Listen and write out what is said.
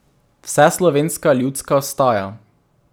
Vseslovenska Ljudska Vstaja.